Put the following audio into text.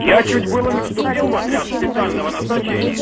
я чуть было не вступил в отряд специального назначения